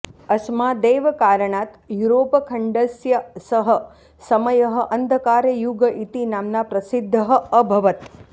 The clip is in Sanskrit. अस्मादेव कारणात् युरोपखण्डस्य सः समयः अन्धकारयुग इति नाम्ना प्रसिद्दः अभवत्